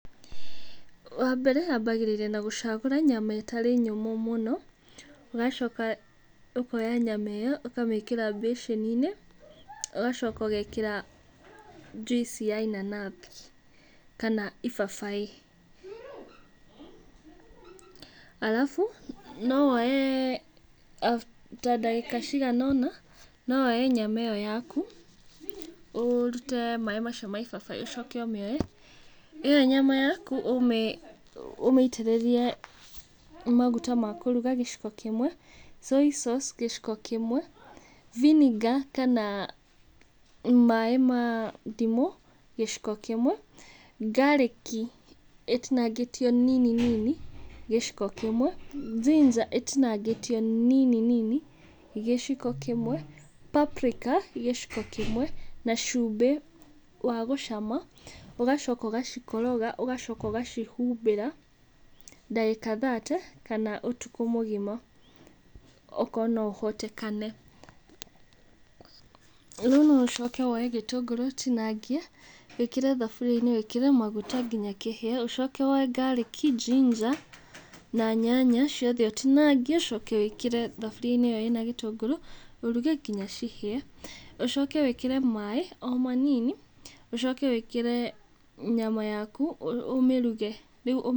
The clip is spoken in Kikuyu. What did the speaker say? Wambere wambagĩrĩria na gũcagũra nyama ĩtarĩ nyũmũ mũno. Ũgacoka ũkoya nyama ĩyo ũkamĩkĩra mbĩcĩni-inĩ, ũgacoka ũgekĩra njuici ya inanathi kana ibabaĩ. Arabu no woe ta ndagĩka cigana ũna, no woe nyama ĩyo yaku, ũrute maĩ macio ma ibabaĩ ũcoke ũmĩoe. Ĩyo nyama yaku ũmĩitĩrĩrie maguta ma kũruga gĩciko kĩmwe Soy sauce gĩciko kĩmwe, vinegear kana maĩ ma ndimũ gĩciko kĩmwe, garlic ĩtinangĩtio nini nini gĩciko kĩmwe, ginger ĩtinangĩtio nini nini gĩciko kĩmwe, paprika gĩciko kĩmwe, na cumbĩ wa gũcama. Ũgacoka ũgacikoroga ũgacoka ũgacihumbĩra ndagĩka thate kana ũtukũ mũgima okorwo noũhotekane. Rĩu no ũcoke woe gĩtũngũrũ ũtinangie wĩkĩre thaburiainĩ wĩkĩre maguta kinya kĩhĩe. Ũcoke woe garlic, ginger [s] na nyanya, ciothe ũtinangie ũcoke wĩkĩre thaburia-inĩ ĩyo ĩna gĩtũngũrũ ũruge nginya cihĩe. Ũcoke wĩkĩre maĩ o manini, ũcoke wĩkĩre nyama yaku ũmĩruge rĩu.